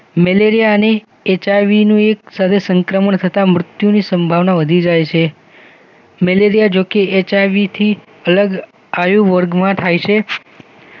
એચઆઈવીનું એક સાથે સંક્રમણ થતા મૃત્યુની સંભાવના વધી જાય મેલેરિયા જો કે એચઆઈવીથી અલગ આયુવર્ગ માં થાય છે